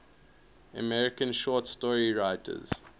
american short story writers